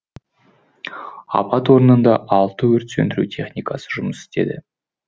апат орнында алты өрт сөндіру техникасы жұмыс істеді